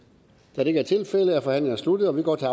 da det ikke er tilfældet er forhandlingen sluttet og vi går til